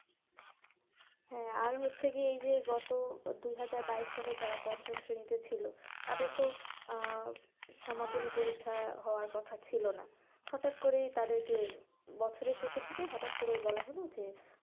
হ্যাঁ আর হচ্ছে গিয়ে গত দুই হাজার বাইশ সালে যারা পঞ্চম শ্রেণীতে ছিল তাদের তো আহ পরীক্ষা হওয়ার কথা ছিল না, হটাৎ করে তাদেরকে, বছরের শেষের দিকে হঠাৎ করে বলা হলো যে,